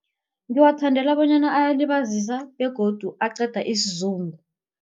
Ngiwathandela bonyana ayalibazisa begodu aqeda isizungu.